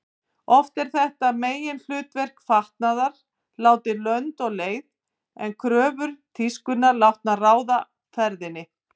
Oft er þetta meginhlutverk fatnaðar látið lönd og leið en kröfur tískunnar látnar ráða ferðinni.